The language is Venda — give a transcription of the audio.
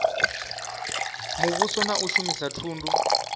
muvhuso na u shumisa thundu